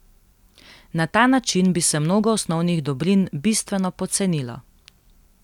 Na ta način bi se mnogo osnovnih dobrin bistveno pocenilo.